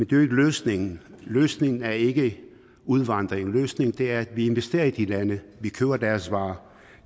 jo ikke løsningen løsningen er ikke udvandring løsningen er at vi investerer i de lande vi køber deres varer